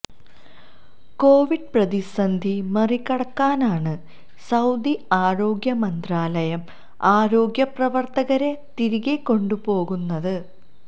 Covid പ്രതിസന്ധി മറികടക്കാനാണ് Saudi ആരോഗ്യ മന്ത്രാലയം ആരോഗ്യ പ്രവർത്തകരെ തിരികെ കൊണ്ടുപോകുന്നത്